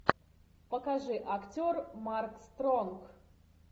покажи актер марк стронг